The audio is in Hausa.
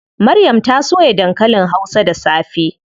Maryam ta soya dankalin hausa da safe.